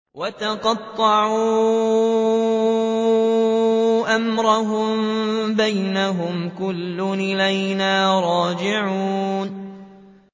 وَتَقَطَّعُوا أَمْرَهُم بَيْنَهُمْ ۖ كُلٌّ إِلَيْنَا رَاجِعُونَ